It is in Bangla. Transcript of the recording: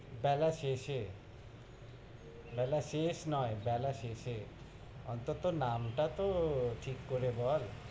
বেলা শেষে, বেলা শেষ নয়, বেলা শেষে, অন্তত নামটা তহও ঠিক করে বল,